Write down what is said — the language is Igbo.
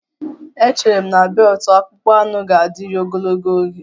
Echere m na beelutu akpụkpọ anụ ga-adịru ogologo oge